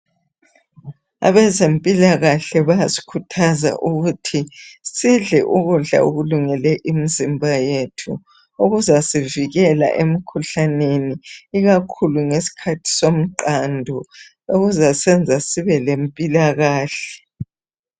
Abezimpilakahle bayasikhuthaza ukuthi sidle ukudla okulungele imizimba yethu okuzasivikela emikhuhlaneni ikakhulu ngesikhathi somqando okuzasenza sibe lempilakahle.